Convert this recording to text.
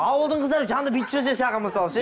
ауылдың қыздары жаныңда бүйтіп жүрсе саған мысалы ше